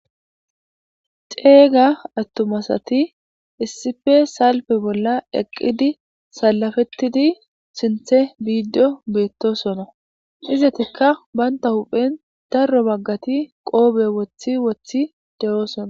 Xeeyga attumasati issife salpe bolla eqqidi salafettidi sinthe biiddo beettosona izatikka banta huphen darro baggati qoobe wothi wothi de7oosona